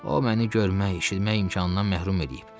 O məni görmək, eşitmək imkanından məhrum eləyib.